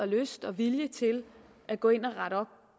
lyst og vilje til at gå ind og rette op